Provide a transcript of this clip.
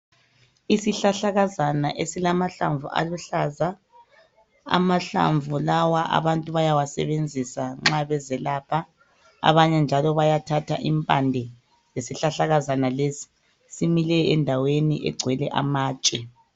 Isihlahlakazana esilamahlamvu aluhlaza. Amahlamvu lawa abantu bayawasebenzisa nxa bezelapha. Abanye njalo bayathatha impande zesihlahlakazana lesi. Simile endaweni egcwele amatshe.